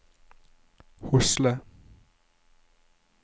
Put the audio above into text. Hosle